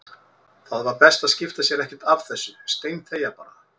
Það var best að skipta sér ekkert af þessu, steinþegja bara.